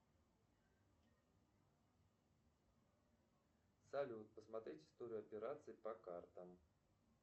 салют посмотреть историю операций по картам